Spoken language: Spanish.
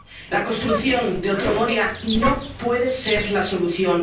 La construcción de otro Moria no puede ser la solución.